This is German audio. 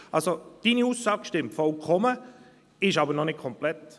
Also: Deine Aussage stimmt vollkommen, ist aber noch nicht komplett.